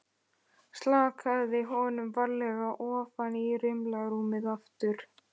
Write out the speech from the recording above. Slakaði honum varlega ofan í rimlarúmið aftur.